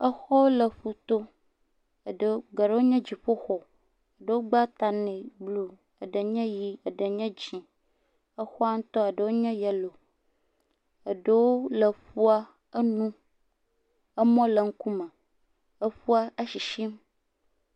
Exɔwo le ƒoto, eɖewo, geɖewo nye dziƒoxɔ, eɖewo gba ta nɛ blu, eɖe nye ʋɛ̃, eɖe nye dzɛ̃, exɔa ŋutɔa eɖewo nye yɛlo, eɖewo le eƒua enu, emɔwo le eŋkume, eƒua esisim.